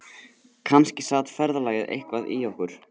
Kannski sat ferðalagið eitthvað í okkur